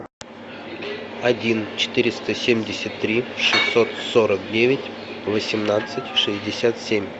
один четыреста семьдесят три шестьсот сорок девять восемнадцать шестьдесят семь